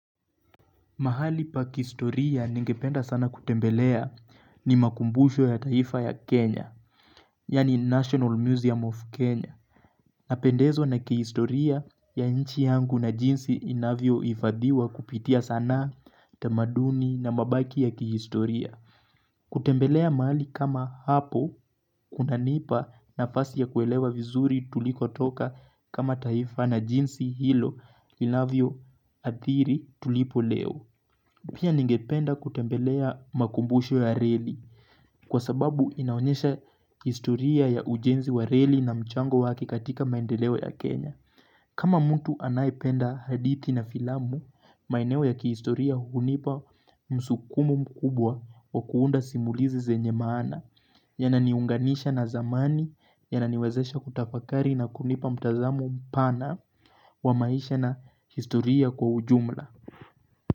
Mahali pa kihistoria ningependa sana kutembelea ni makumbusho ya taifa ya Kenya, yaani National Museum of Kenya. Napendezwa na kihistoria ya nchi yangu na jinsi inavyohifadhiwa kupitia sanaa tamaduni na mabaki ya kihistoria. Kutembelea mahali kama hapo, kunanipa nafasi ya kuelewa vizuri tulikotoka kama taifa na jinsi hilo inavyoadhiri tulipo leo. Pia ningependa kutembelea makumbushk ya reli kwa sababu inaonyesha historia ya ujenzi wa reli na mchango wake katika maendeleo ya Kenya. Kama mtu anayependa hadithi na filamu, maeneo ya kihistoria hunipa msukumo mkubwa wa kuunda simulizi zenye maana yananiunganisha na zamani yananiwezesha kutafakari na kunipa mtazamo mpana wa maisha na historia kwa ujumla.